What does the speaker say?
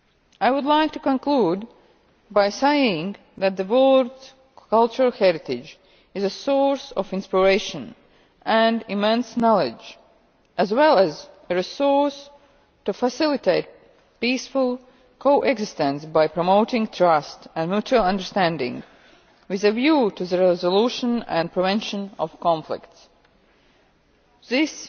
I would like to conclude by saying that the world's cultural heritage is a source of inspiration and immense knowledge, as well as a resource to facilitate peaceful co existence by promoting trust and mutual understanding with a view to the resolution and prevention of conflicts. This